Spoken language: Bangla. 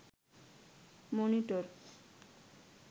মনিটর